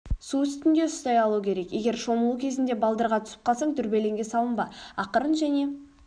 су үстінде ұстай алу керек егер шомылу кезінде балдырға түсіп қалсаң дүрбелеңге салынба ақырын және